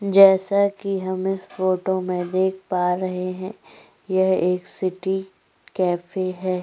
जैसा कि हम इस फोटो में देख पा रहै हैं यह एक सिटी कैफे हैं।